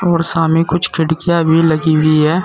और सामने कुछ खिड़कियां भी लगी हुई है।